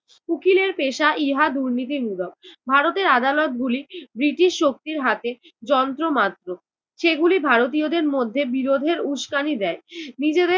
উকিলের পেশা ইহা দুর্নীতি মূলক। ভারতের আদালত গুলি ব্রিটিশ শক্তির হাতে যন্ত্র মাত্র, সেগুলি ভারতীয়দের মধ্যে বিরোধের উস্কানি দেয়। নিজেদের